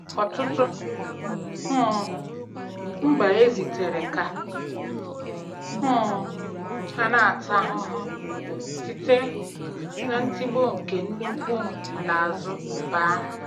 Ọtụtụ um mba ezitere ka um ha na-ata ahụhụ site na ntigbu nke nnukwu nlaazu mba ahụ